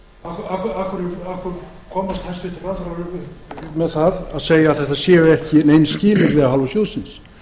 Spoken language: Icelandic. hverju komast hæstvirtir ráðherrar upp með að segja að þetta séu ekki nein skilyrði af hálfu sjóðsins